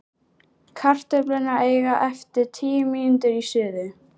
Kartöflurnar eiga eftir tíu mínútur í suðu.